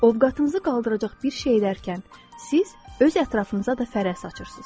Ovqatımızı qaldıracaq bir şey edərkən, siz öz ətrafınıza da fərəh saçırsınız.